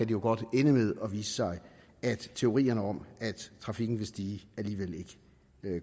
jo godt ende med at vise sig at teorierne om at trafikken vil stige alligevel ikke